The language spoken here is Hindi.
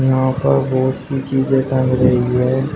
यहां पर बहोत सी चीजें टंग रही है।